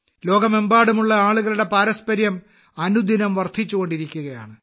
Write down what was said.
ലോകമെമ്പാടുമുള്ള ആളുകളുടെ പാരസ്പര്യം അനുദിനം വർദ്ധിച്ചുകൊണ്ടിരിക്കുകയാണ്